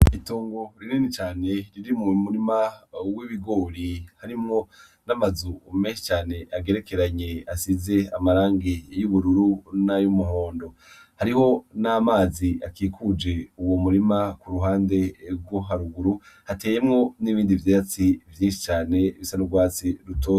Itongo rinini cane riri mu murima w'ibigori harimwo n'amazu menshi cane agerekeranye asize amarangi y'ubururu nay'umuhondo .Hariho n'amazi akikuje uwo murima k'uruhande rwo haruguru hateyemwo n'ibindi vyatsi vyinshi cane bisa n'urwatsi rutoto.